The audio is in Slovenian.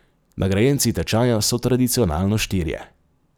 Nagrajenci tečaja so tradicionalno štirje.